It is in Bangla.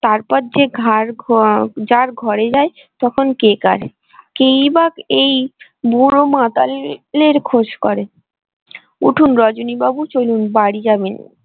তারপর যে ঘার ঘ যার ঘরে যাই তখন কে কার কেই বা এই বুড়ো মাতালের খোঁজ করে উঠুন রজনী বাবু চলুন বাড়ি যাবেন।